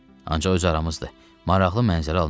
Ancaq öz aramızdı, maraqlı mənzərə alınara.